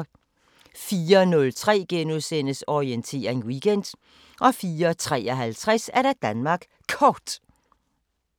04:03: Orientering Weekend * 04:53: Danmark Kort *